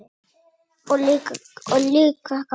Og líka gaman.